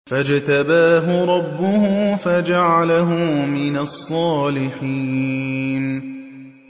فَاجْتَبَاهُ رَبُّهُ فَجَعَلَهُ مِنَ الصَّالِحِينَ